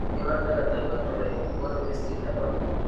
Human phenotype ontology kogonu listit nebo